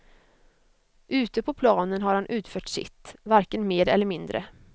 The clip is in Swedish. Ute på planen har han utfört sitt, varken mer eller mindre.